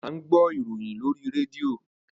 À ń gbọ́ ìròyìn lóríi rédíò.